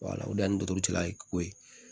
o de y'an ni totigiya ye ko ye